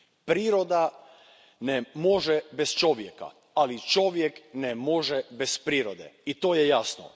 Priroda može bez čovjeka, ali čovjek ne može bez prirode i to je jasno.